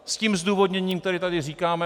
S tím zdůvodněním, které tady říkáme.